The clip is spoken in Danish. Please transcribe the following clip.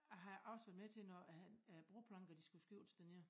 Jeg har også været med til når at æ broplanker de skulle skiftes dernede